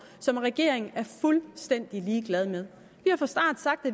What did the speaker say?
som regeringen er fuldstændig ligeglad med